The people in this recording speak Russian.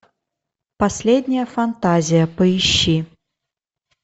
последняя фантазия поищи